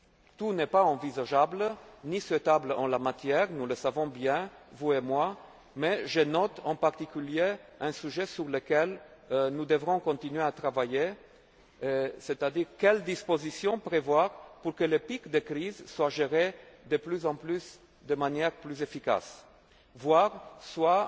Tout n'est pas envisageable ni souhaitable en la matière, nous le savons bien, vous et moi, mais je note en particulier une question sur laquelle nous devrons continuer à travailler, à savoir quelles dispositions faut il prévoir pour que le pic de crise soit géré, de plus en plus, de manière plus efficace, voire